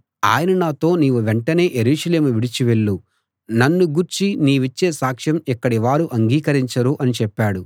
ఆయన నాతో నీవు వెంటనే యెరూషలేము విడిచి వెళ్ళు నన్ను గూర్చి నీవిచ్చే సాక్ష్యం ఇక్కడి వారు అంగీకరించరు అని చెప్పాడు